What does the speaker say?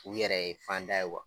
U yɛrɛ ye fanda ye .